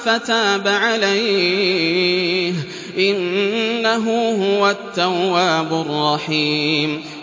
فَتَابَ عَلَيْهِ ۚ إِنَّهُ هُوَ التَّوَّابُ الرَّحِيمُ